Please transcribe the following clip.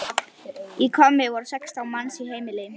Í Hvammi voru sextán manns í heimili.